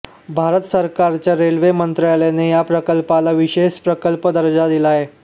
भारत सरकारच्या रेल्वे मंत्रालयाने या प्रकल्पाला विशेष प्रकल्प दर्जा दिला आहे